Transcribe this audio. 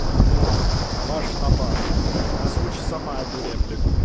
онлайн баш на баш озвучь самое туре